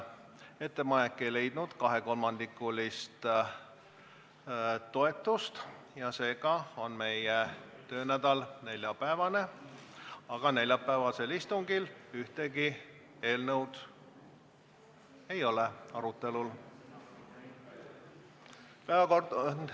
Ettepanek ei leidnud kahekolmandikulist toetust ja seega on meie töönädal neljapäevane, aga neljapäevasel istungil ühtegi eelnõu arutelul ei ole.